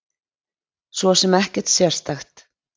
Svo sem ekkert sérstakt.